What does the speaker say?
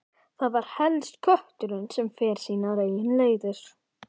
Það var helst kötturinn sem fór sínar eigin leiðir.